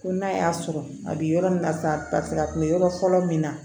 Ko n'a y'a sɔrɔ a bi yɔrɔ min na sa a tun be yɔrɔ fɔlɔ min na